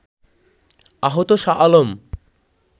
আহত শাহ আলম